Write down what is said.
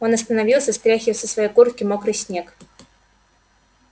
он остановился стряхивая со своей куртки мокрый снег